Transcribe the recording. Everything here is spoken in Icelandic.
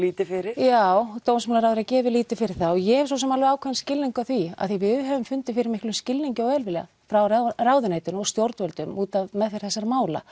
lítið fyrir já dómsmálaráðherra gefur lítið fyrir það og ég hef svo sem ákveðinn skilning á því af því við höfum fundið fyrir miklum skilning og velviljan frá ráðherra ráðuneytinu og stjórnvöldum út af meðferð þessara mála